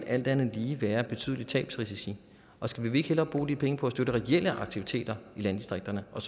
alt andet lige vil være betydelige tabsrisici og skal vi ikke hellere bruge de penge på at støtte reelle aktiviteter i landdistrikterne og